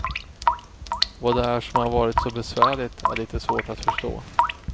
Vad det är som har varit så besvärligt är lite svårt att förstå.